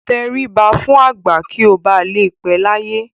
Tẹríba fún àgbà kí ó ba lè pẹ́ láyé.